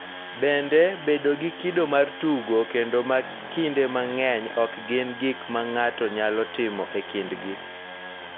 Bende, bedo gi kido mar tugo kendo ma kinde mang�eny ok gin gik ma ng�ato nyalo timo e kindgi .